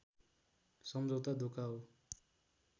सम्झौता धोका हो